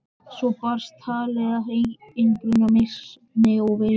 Svo barst talið að einangrunarvist minni og yfirheyrslum.